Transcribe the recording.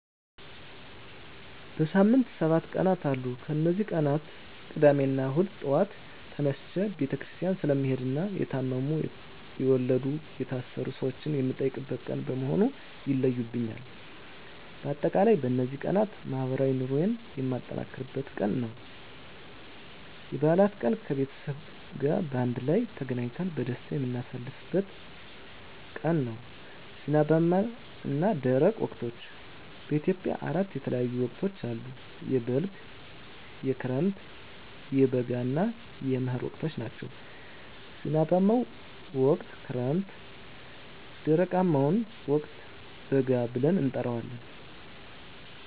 በሳምንት ሰባት ቀናት አሉ ከነዚህ ቀናት ቅዳሜና እሁድ ጧት ተነስቸ ቤተክርስቲያን ስለምሄድና የታመሙ፣ የወለዱ፣ የታሰሩ ሰወችን የምጠይቅበት ቀን በመሆኑ ይለዩብኛል። በአጠቃላይ በነዚህ ቀናት ማህበራዊ ኑሮየን የማጠናክርበት ቀን ናቸው። *የበዓላት ቀን፦ ከቤተሰብ ጋር በአንድ ላይ ተገናኝተን በደስታ የምናሳልፍበት ቀን ነው። *ዝናባማና ደረቅ ወቅቶች፦ በኢትዮጵያ አራት የተለያዩ ወቅቶች አሉ፤ የበልግ፣ የክረምት፣ የበጋ እና የመህር ወቅቶች ናቸው። *ዝናባማውን ወቅት ክረምት *ደረቃማውን ወቅት በጋ ብለን እንጠራዋለን።